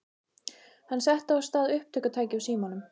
Hann setti á stað upptökutæki á símanum.